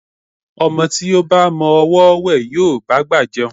Ọmọ tí ó ba mọ ọwọ́ wẹ̀, yóò bá'gbà jẹun.